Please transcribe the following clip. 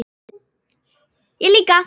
Föstu og ekki föstu.